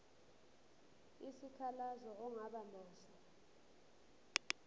isikhalazo ongaba naso